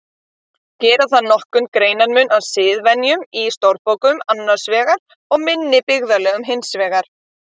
Gera þarf nokkurn greinarmun á siðvenjum í stórborgum annars vegar og minni byggðarlögum hins vegar.